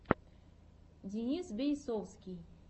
денис бейсовский